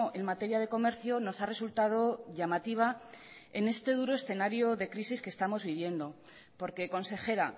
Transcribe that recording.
en materia de comercio nos ha resultado llamativa en este duro escenario de crisis que estamos viviendo porque consejera